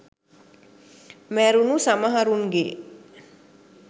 මැරුණු සමහරුන්ගේ